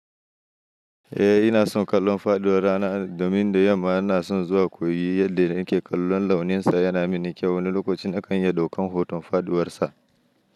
Eh ina son kallon faɗuwar rana domin da yamma ina son zuwa koyi yadda nake kallon launinsa. Yana mini kyau, wani lokacin akan iya ɗaukan hoton faɗuwarsa.